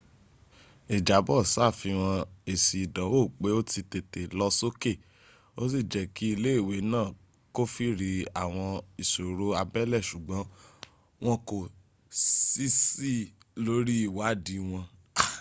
ìjábọ̀ ṣàfihàn èsì ìdánwó pé ó ti tètè lọ sókè ò sí jẹ́ kí ilé ìwé náà kófìrí àwọn ìṣòro abẹ́lé ṣùgbọ́n wọn kò ṣiṣk lórí ìwádìí wọn